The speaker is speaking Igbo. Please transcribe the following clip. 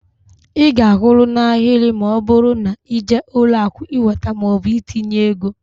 Ị ga-akwụrụ n'ahịrị ma ọbụrụ na ịje ụlọakụ iweta maọbụ itinye ego.